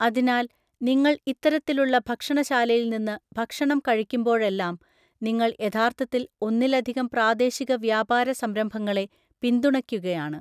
അതിനാൽ, നിങ്ങൾ ഇത്തരത്തിലുള്ള ഭക്ഷണശാലയില്‍നിന്ന് ഭക്ഷണം കഴിക്കുമ്പോഴെല്ലാം, നിങ്ങൾ യഥാർത്ഥത്തിൽ ഒന്നിലധികം പ്രാദേശിക വ്യാപാര സംരംഭങ്ങളെ പിന്തുണയ്ക്കുകയാണ്!